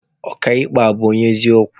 Ọka ikpe a, ọ bụ onye eziokwu?